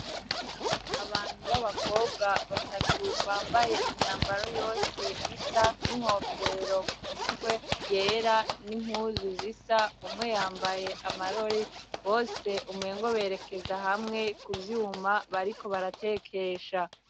Abantu b'abakobwa batatu bambaye imyambaro yose isa n'inkofero kumutwe yera n'impuzu zisa, umwe yambaye amarori bose umengo berekeza hamwe kuvyuma bariko baratekesha.